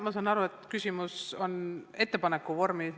Ma saan aru, et küsimus on ettepaneku vormis.